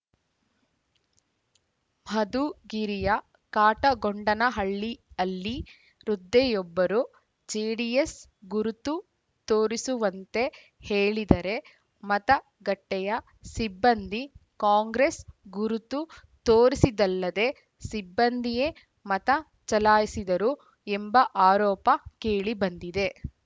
ಮಧುಗಿರಿಯ ಕಾಟಗೊಂಡನಹಳ್ಳಿ ಹಲ್ಲಿ ವೃದ್ಧೆಯೊಬ್ಬರು ಜೆಡಿಎಸ್‌ ಗುರುತು ತೋರಿಸುವಂತೆ ಹೇಳಿದರೆ ಮತಗಟ್ಟೆಯ ಸಿಬ್ಬಂದಿ ಕಾಂಗ್ರೆಸ್‌ ಗುರುತು ತೋರಿಸಿದ್ದಲ್ಲದೇ ಸಿಬ್ಬಂದಿಯೇ ಮತ ಚಲಾಯಿಸಿದರು ಎಂಬ ಆರೋಪ ಕೇಳಿಬಂದಿದೆ